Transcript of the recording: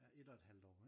Ja et og et halvt år